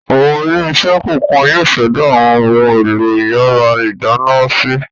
Àwọn ilé-iṣẹ́ kọ̀ọ̀kan yóò ṣẹ̀dá àwọn ohun-èlò ìyàrá-ìdáná si.